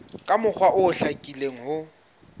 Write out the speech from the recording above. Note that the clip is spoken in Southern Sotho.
ka mokgwa o hlakileng ho